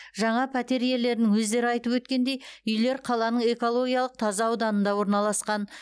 жаңа пәтер иелерінің өздері айтып өткендей үйлер қаланың экологиялық таза ауданында орналасқан